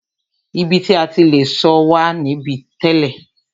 Ibi ti a ti le sọ̀ wà níbí tẹ́lẹ̀.